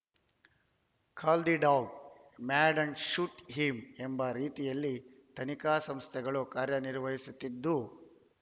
call the dog mad and shoot him ಎಂಬ ರೀತಿಯಲ್ಲಿ ತನಿಖಾ ಸಂಸ್ಥೆಗಳು ಕಾರ್ಯನಿರ್ವಹಿಸುತ್ತಿದ್ದು